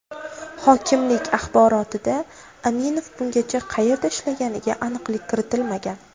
Hokimlik axborotida Aminov bungacha qayerda ishlaganiga aniqlik kiritilmagan.